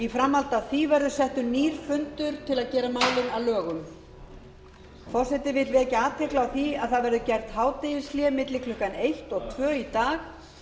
framhaldi af því verður settur nýr fundur til að gera málið að lögum forseti vill vekja athygli á því að gert verður hádegishlé milli klukkan eitt og tvö í dag